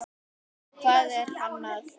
Hvað er hann að segja?